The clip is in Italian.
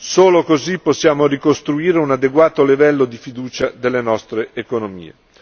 Solo così possiamo ricostruire un adeguato livello di fiducia delle nostre economie.